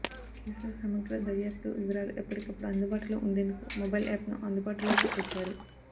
కేసుల సమగ్ర దర్యాప్తు వివరాలు ఎప్పటికప్పుడు అందుబాటులో ఉండేందుకు మొబైల్ యాప్ను అందుబాటులోకి తెచ్చారు